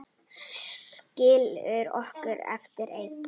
Skilur okkur eftir ein.